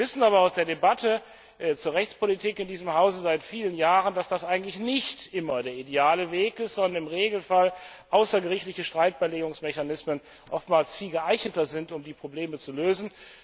Wir wissen aber aus der Debatte zur Rechtspolitik in diesem Hause seit vielen Jahren, dass das eigentlich nicht immer der ideale Weg ist, sondern im Regelfall außergerichtliche Streitbeilegungsmechanismen oftmals viel geeigneter sind, um die Probleme zu lösen.